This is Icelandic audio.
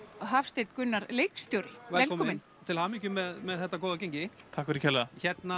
Hafsteinn Gunnar leikstjóri velkomin til hamingj með þetta góða gengi takk fyrir kærlega